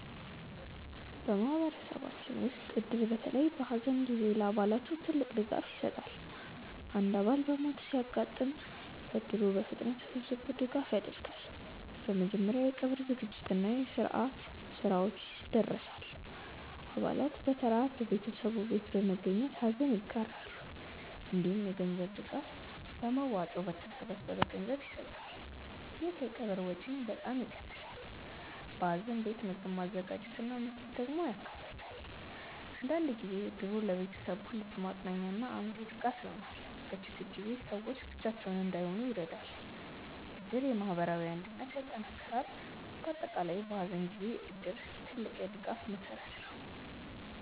በማህበረሰባችን ውስጥ እድር በተለይ በሐዘን ጊዜ ለአባላቱ ትልቅ ድጋፍ ይሰጣል። አንድ አባል በሞት ሲያጋጥም እድሩ በፍጥነት ተሰብስቦ ድጋፍ ያደርጋል። በመጀመሪያ የቀብር ዝግጅት እና የስርዓት ስራዎችን ያደርሳል። አባላት በተራ በቤተሰቡ ቤት በመገኘት ሐዘን ይጋራሉ። እንዲሁም የገንዘብ ድጋፍ በመዋጮ በተሰበሰበ ገንዘብ ይሰጣል። ይህ የቀብር ወጪን በጣም ይቀንሳል። በሐዘን ቤት ምግብ ማዘጋጀት እና መስጠት ደግሞ ያካተታል። አንዳንድ ጊዜ እድሩ ለቤተሰቡ ልብ ማጽናኛ እና አእምሮ ድጋፍ ይሆናል። በችግር ጊዜ ሰዎች ብቻቸውን እንዳይሆኑ ይረዳል። እድር የማህበራዊ አንድነትን ያጠናክራል። በአጠቃላይ በሐዘን ጊዜ እድር ትልቅ የድጋፍ መሠረት ነው።